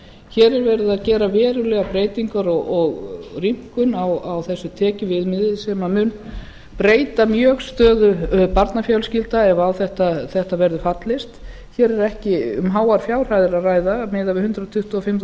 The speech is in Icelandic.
hér er verið að gera verulegar breytingar og rýmkun á þessi tekjuviðmiði sem mun breyta mjög stöðu barnafjölskyldna ef á þetta verður fallist hér er ekki um háar fjárhæðir að ræða miðað við hundrað tuttugu og fimm